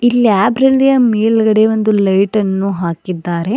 Library ಯ ಮೇಲ್ಗಡೆ ಒಂದು ಲೈಟ ನ್ನು ಹಾಕಿದ್ದಾರೆ.